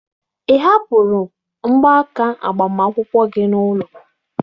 Ị hapụrụ mgba aka agbamakwụkwọ gị n'ụlọ?